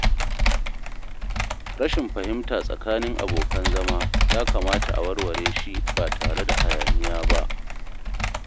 Rashin fahimta tsakanin abokan zama ya kamata a warware shi ba tare da hayaniya ba.